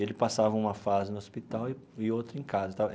Ele passava uma fase no hospital e e outra em casa tal.